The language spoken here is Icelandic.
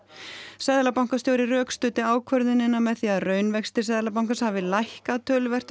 seðlabankastjóri rökstuddi ákvörðunina með því að raunvextir Seðlabankans hafi lækkað töluvert á